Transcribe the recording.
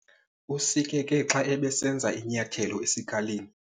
Usikeke xa ebesenza inyathelo esikalini.